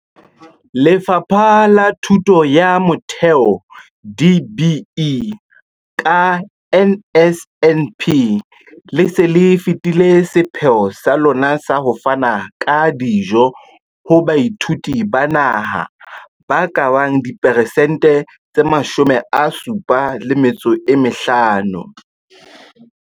Lefapha la Thuto ya Motheo, DBE, ka NSNP, le se le fetile sepheo sa lona sa ho fana ka dijo ho baithuti ba naha ba ka bang diperesente tse 75.